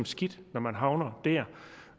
skidt når man havner der